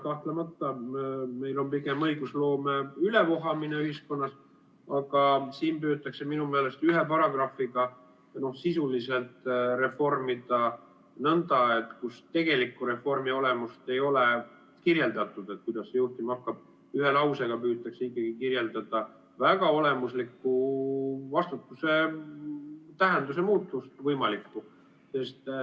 Kahtlemata meil on pigem õigusloome ülevohamine ühiskonnas, aga siin püütakse minu meelest ühe paragrahviga sisuliselt reformida nõnda, et kus tegelikku reformi olemust ei ole kirjeldatud, kuidas see juhtuma hakkab, siis ühe lausega püütakse kirjeldada väga olemusliku vastutuse võimalikku tähenduse muutust.